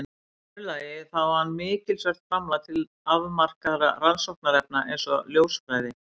Í öðru lagi þá á hann mikilsvert framlag til afmarkaðra rannsóknarefna eins og ljósfræði.